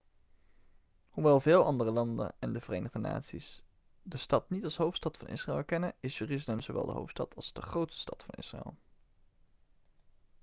hoewel veel andere landen en de verenigde naties de stad niet als hoofdstad van israël erkennen is jeruzalem zowel de hoofdstad als de grootste stad van israël